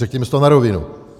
Řekněme si to na rovinu.